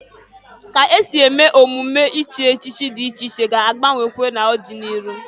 Ka esi eme emume echichi dị iche iche ga-agbanwekwa n'ọdị n'iru.